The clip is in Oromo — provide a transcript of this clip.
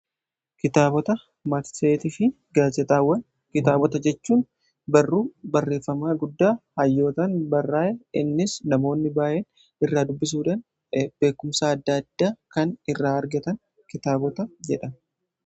Kitaabota marsariitii fi gaazeexaawwan kitaabota jechuun barruu barreeffamaa guddaa hayyootaan barraa'ee. Innis namoonni baay'een irraa dubbisuudhan beekumsaa adda addaa kan irraa argatan kitaabota jedhama.